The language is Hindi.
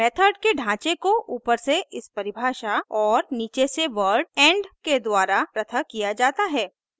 मेथड के ढाँचे को ऊपर से इस परिभाषा और नीचे से वर्ड end के द्वारा पृथक किया जाता है